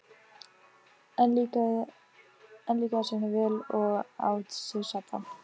Enn líkaði Sveini vel og át sig saddan.